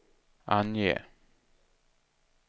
ange